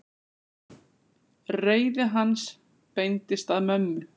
Reiði hans beindist að mömmu.